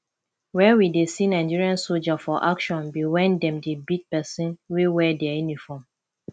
where we dey see nigerian soldier for action be when dem dey beat person wey wear dia uniform